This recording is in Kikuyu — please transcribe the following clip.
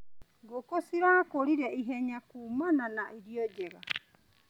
Ngũkũ cirakũrire ihenya kumana na irio njega.